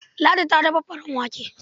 Ladi ta dafa farin wake.